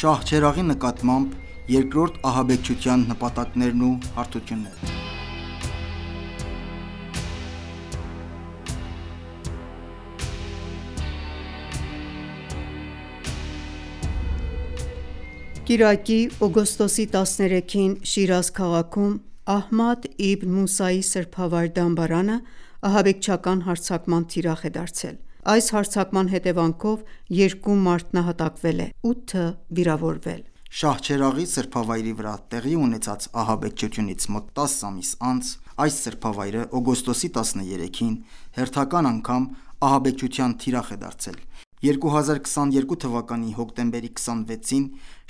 Շահչերաղի նկատմամբ երկրորդ ահաբեկչության նպատակներն ու հարթությունները Կիրակի՝ օգոստոսի 13-ին, Շիրազ քաղաքում Ահմադ Իբն Մուսայի սրբավայր դամբարանը ահաբեկչական հարձակման թիրախ է դարձել։ Այս հարձակման հետևանքով երկու մարդ նահատակվել է, 8-ը՝ վիրավորվել։ Շահչերաղի սրբավայրի վրա տեղի ունեցած ահաբեկչությունից մոտ 10 ամիս անց այս սրբավայրը օգոստոսի 13-ին հերթական անգամ ահաբեկչության թիրախ է դարձել։ 2022 թվականի հոկտեմբերի 26-ին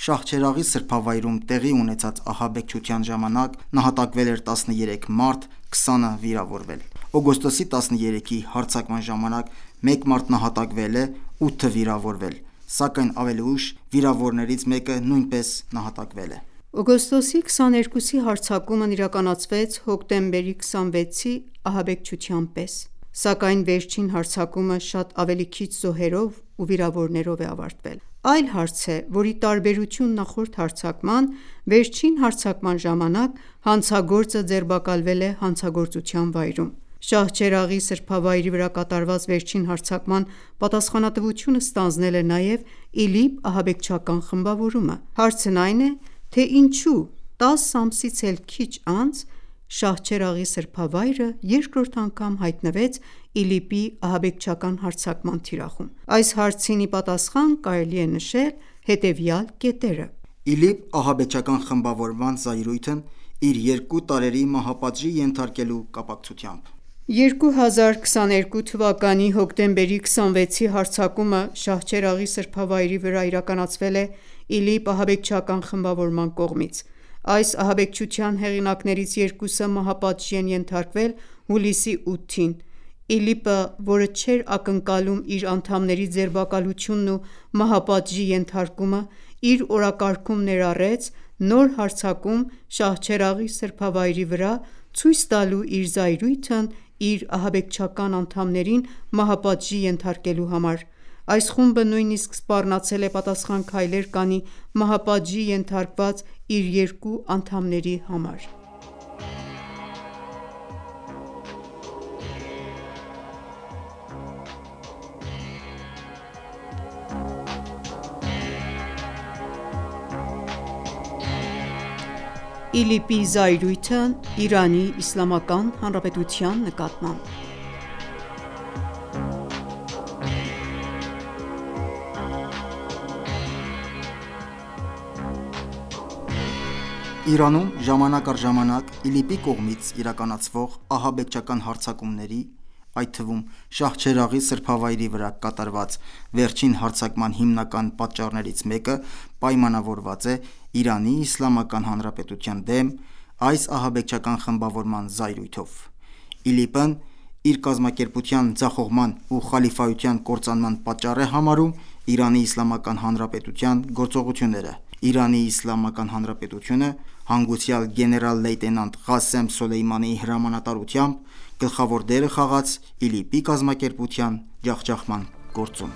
Շահչերաղի սրբավայրում տեղի ունեցած ահաբեկչության ժամանակ նահատակվել էր 13 մարդ, 20-ը՝ վիրավորվել։ Օգոստոսի 13-ի հարձակման ժամանակ մեկ մարդ նահատակվել է, 8-ը՝ վիրավորվել, սակայն ավելի ուշ վիրավորներից մեկը նույնպես նահատակվել է։ Օգոստոսի 13-ի հարձակումն իրականացվեց հոկտեմբեր 26-ի ահաբեկչության պես, սակայն վերջին հարձակումը շատ ավելի քիչ զոհերով ու վիրավորներով է ավարտվել: Այլ հարց է, որ ի տարբերություն նախորդ հարձակման, վերջին հարձակման ժամանակ հանցագործը ձերբակալվել է հանցագործության վայրում։ Շահչերաղի սրբավայրի վրա կատարված վերջին հարձակման պատասխանատվությունը ստանձնել է նաեւ ԻԼԻՊ ահաբեկչական խմբավորումը։ Հարցն այն է, թե ինչու 10 ամսից էլ քիչ անց Շահչերաղի սրբավայրը երկրորդ անգամ հայտնվեց ԻԼԻՊ-ի ահաբեկչական հարձակման թիրախում։ Այս հարցին ի պատասխան կարելի է նշել հետևյալ կետերը. ԻԼԻՊ ահաբեկչական խմբավորման զայրույթն իր երկու տարրերի մահապատժի կապակցությամբ 2022թ. Հոկտեմբեր 26-ի հարձակումը Շահչերաղի սրբավայրի վրա իրականացվել է ԻԼԻՊ ահաբեկչական խմբավորման կողմից։ Այս ահաբեկչության հեղինակներից երկուսը մահապատժի են ենթարկվել հուլիսի 8-ին։ ԻԼԻՊ-ը, որը չէր ակնկալում իր անդամների ձերբակալությունն ու մահապատժի ենթարկումը, իր օրակարգում ներառեց նոր հարձակում Շահչերաղի սրբավայրի վրա՝ ցույց տալու իր զայրույթն իր ահաբեկչական անդամներին մահապատժի ենթարկելու համար: Այս խումբը նույնիսկ սպառնացել է պատասխան քայլեր կանի մահապատժի ենթարկված իր երկու անդամների համար։ ԻԼԻՊ-ի զայրույթն Իրանի Իսլամական Հանրապետության նկատմամբ Իրանում ժամանակ առ ժամանակ ԻԼԻՊ-ի կողմից իրականացվող ահաբեկչական հարձակումների, այդ թվում՝ Շահչերաղի սրբավայրի վրա կատարված վերջին հարձակման հիմնական պատճառներից մեկը պայմանավորված է Իրանի Իսլամական Հանրապետության դեմ այս ահաբեկչական խմբավորման զայրույթով։ ԻԼԻՊ-ն իր կազմակերպության ձախողման ու խալիֆայության կործանման պատճառ է համարում Իրանի Իսլամական Հանրապետության գործողությունները։ Իրանի Իսլամական Հանրապետությունը, հանգուցյալ գեներալ-լեյտենանտ Ղասեմ Սոլեյմանիի հրամանատարությամբ, գլխավոր դերը խաղաց ԻԼԻՊ-ի կազմակերպության ջախջախման գործում։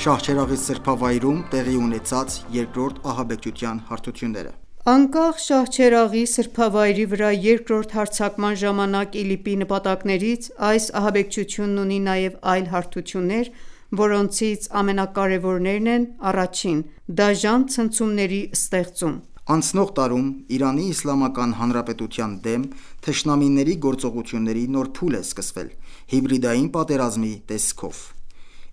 Շահչերաղի սրբավայրում տեղի ունեցած երկրորդ ահաբեկչության հարթությունները Անկախ Շահչերաղի սրբավայրի վրա երկրորդ հարձակման ժամանակ ԻԼԻՊ-ի նպատակներից, այս ահաբեկչությունն ունի նաև այլ հարթություններ, որոնցից ամենակարևորներն են՝ 1. Դաժան ցնցումների ստեղծում Անցնող տարում Իրանի Իսլամական Հանրապետության դեմ թշնամիների գործողությունների նոր փուլ է սկսվել՝ հիբրիդային պատերազմի տեսքով։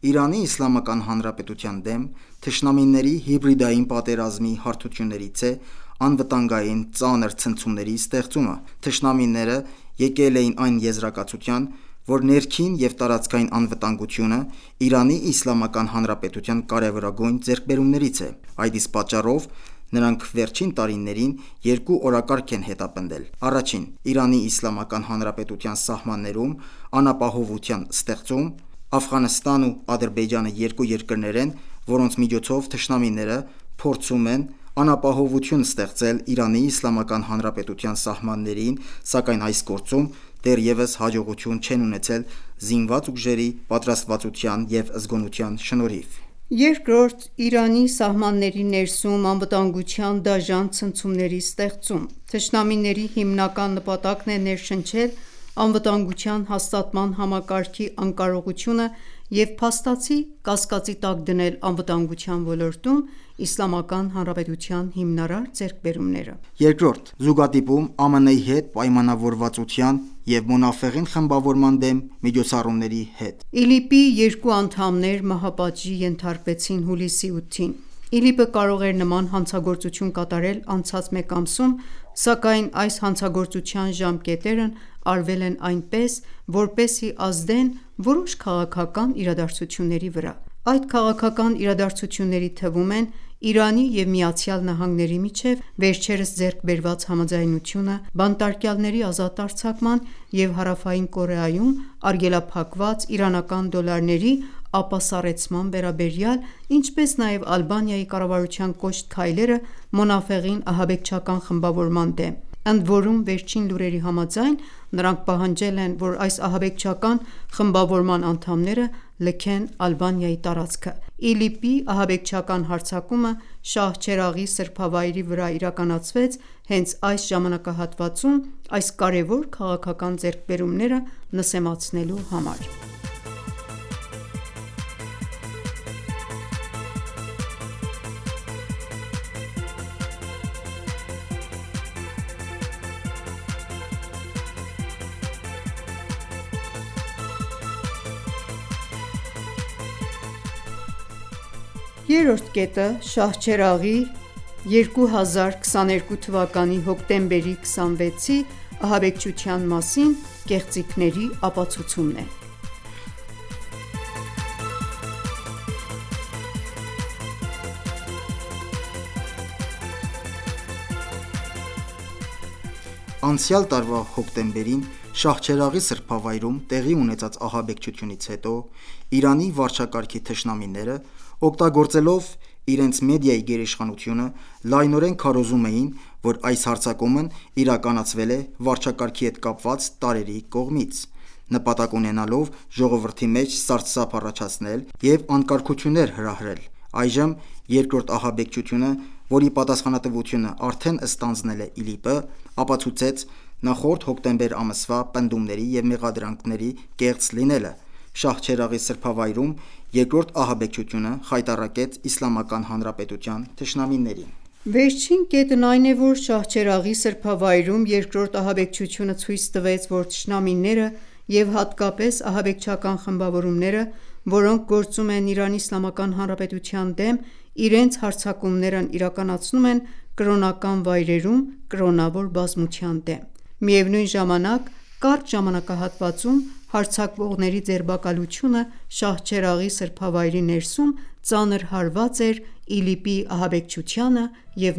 Իրանի Իսլամական Հանրապետության դեմ թշնամիների հիբրիդային պատերազմի հարթություններից է անվտանգային ծանր ցնցումների ստեղծումը։ Թշնամիները եկել էին այն եզրակացության, որ ներքին և տարածքային անվտանգությունը Իրանի Իսլամական Հանրապետության կարևորագույն ձեռքբերումներից է։ Այդ իսկ պատճառով նրանք վերջին տարիներին երկու օրակարգ են հետապնդել. Առաջին, Իրանի Իսլամական Հանրապետության սահմաններում անապահովության ստեղծում. Աֆղանստանն ու Ադրբեջանը երկու երկրներ են, որոնց միջոցով թշնամիները փորձում են անապահովություն ստեղծել Իրանի Իսլամական Հանրապետության սահմաններին, սակայն այս գործում դեռևս հաջողություն չեն ունեցել զինված ուժերի պատրաստվածության և զգոնության շնորհիվ: Երկրորդ, Իրանի սահմանների ներսում անվտանգության դաժան ցնցումների ստեղծում. Թշնամիների հիմնական նպատակն է ներշնչել անվտանգության հաստատման համակարգի անկարողությունը և փաստացի կասկածի տակ դնել անվտանգության ոլորտում Իսլամական Հանրապետության հիմնարար ձեռքբերումները։ 2. Զուգադիպում՝ ԱՄՆ-ի հետ պայմանավորվածության և Մոնաֆեղին խմբավորման դեմ միջոցառումների հետ ԻԼԻՊ-ի երկու անդամներ մահապատժի ենթարկվեցին հուլիսի 8-ին. ԻԼԻՊ-ը կարող էր նման հանցագործություն կատարել անցած մեկ ամսում, սակայն այս հանցագործության ժամկետներն արվել են այնպես, որպեսզի ազդեն որոշ քաղաքական իրադարձությունների վրա։ Այդ քաղաքական իրադարձությունների թվում են Իրանի և ԱՄՆ-ի միջև վերջերս ձեռքբերված համաձայնությունը՝ բանտարկյալների ազատ արձակման և Հարավային Կորեայում արգելափակված իրանական դոլարների ապասառեցման վերաբերյալ, ինչպես նաև Ալբանիայի կառավարության կոշտ քայլերը Մոնաֆեղին ահաբեկչական խմբավորման դեմ, ընդորում վերջին լուրերի համաձայն՝ նրանք պահանջել են, որ այս ահաբեկչական խմբավորման անդամները լքեն Ալբանիայի տարածքը։ ԻԼԻՊ-ի ահաբեկչական հարձակումը Շահչերաղի սրբավայրի վրա իրականացվեց հենց այս ժամանակահատվածում՝ այս կարևոր քաղաքական ձեռքբերումները նսեմացնելու համար: 3. Շահչերաղի 2022թ. հոկտեմբեր 26-ի ահաբեկչության մասին կեղծիքների ապացուցումը Անցյալ տարվա հոկտեմբերին Շահչերաղի սրբավայրում տեղի ունեցած ահաբեկչությունից հետո Իրանի վարչակարգի թշնամիները, օգտագործելով իրենց մեդիայի գերիշխանությունը, լայնորեն քարոզում էին, որ այս հարձակումն իրականացվել է վարչակարգի հետ կապված տարրերի կողմից՝ նպատակ ունենալով ժողովրդի մեջ սարսափ առաջացնել և անկարգություններ հրահրել։ Այժմ երկրորդ ահաբեկչությունը, որի պատասխանատվությունը արդեն ստանձնել է ԻԼԻՊ-ը, ապացուցեց նախորդ հոկտեմբեր ամսվա պնդումների և մեղադրանքների կեղծ լինելը։ Շահչերաղի սրբավայրում երկրորդ ահաբեկչությունը խայտառակեց Իսլամական Հանրապետության թշնամիներին. Վերջին կետն այն է, որ Շահչերաղի սրբավայրում երկրորդ ահաբեկչությունը ցույց տվեց, որ թշնամիները և հատկապես ահաբեկչական խմբավորումները, որոնք գործում են Իրանի Իսլամական Հանրապետության դեմ, իրենց հարձակումներն իրականացնում են կրոնական վայրերում կրոնավոր բազմության դեմ։ Միևնույն ժամանակ, կարճ ժամանակահատվածում հարձակվողի ձերբակալությունը Շահչերաղի սրբավայրի ներսում ծանր հարված էր ԻԼԻՊ-ի ահաբեկչությանը և